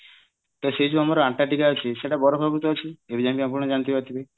ତା ସେ ଯୋଉ ଆମର ଆଣ୍ଟାର୍କଟିକା ଅଛି ସେଟା ବରଫାବୃତ ଅଛି ଏବେ ଯାଏ ଆପଣ ଜାଣିପାରୁଥିବେ